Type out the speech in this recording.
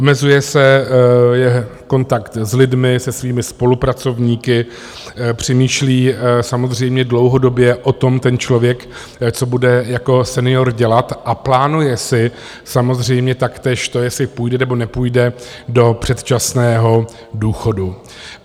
Omezuje se jeho kontakt s lidmi, se svými spolupracovníky, přemýšlí samozřejmě dlouhodobě o tom ten člověk, co bude jako senior dělat, a plánuje si samozřejmě taktéž to, jestli půjde, nebo nepůjde do předčasného důchodu.